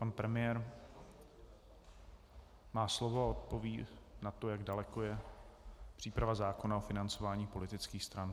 Pan premiér má slovo a odpoví na to, jak daleko je příprava zákona o financování politických stran.